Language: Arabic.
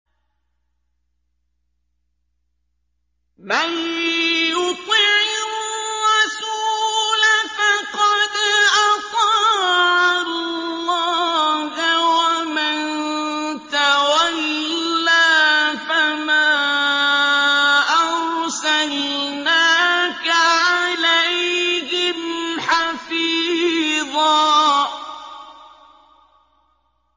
مَّن يُطِعِ الرَّسُولَ فَقَدْ أَطَاعَ اللَّهَ ۖ وَمَن تَوَلَّىٰ فَمَا أَرْسَلْنَاكَ عَلَيْهِمْ حَفِيظًا